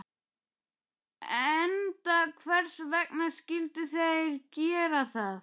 Enda hvers vegna skyldu þeir gera það?